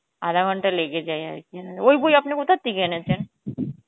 আধা ঘন্টা লেগে যায় আরকি, ওই বই আপনি কোথা থেকে এনেছেন?